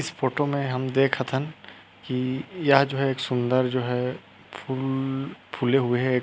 इस फोटो में हम देखत हन की यह जो है सूंदर जो है फूल फुले हुए है।